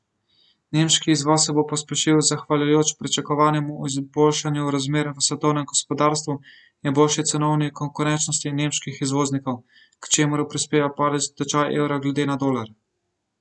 Nemški izvoz se bo pospešil zahvaljujoč pričakovanemu izboljšanju razmer v svetovnem gospodarstvu in boljši cenovni konkurenčnosti nemških izvoznikov, k čemur prispeva padec tečaja evra glede na dolar.